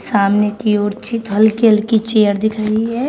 सामने की ओर हल्की हल्की चेयर दिख रही है।